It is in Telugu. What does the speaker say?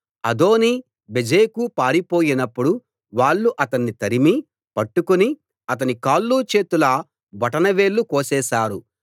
అదోనీ బెజెకు పారిపోయినప్పుడు వాళ్ళు అతణ్ణి తరిమి పట్టుకుని అతని కాళ్ళు చేతుల బొటన వేళ్ళు కోసేశారు